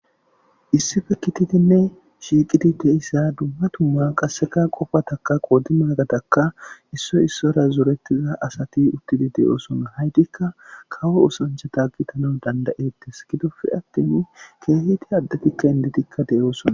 issife kitidinne shiiqidi deyissa dumma tumma qasseka qofataka qoodi maagadakka issoy issora zoretiza asati uttidi de7oosona haytikka kawo usancha tagitana dandayettes gidofe attin keehiti addetikka inditikka de7oosona